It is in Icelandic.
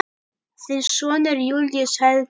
Þinn sonur, Júlíus Helgi.